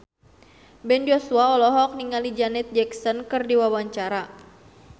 Ben Joshua olohok ningali Janet Jackson keur diwawancara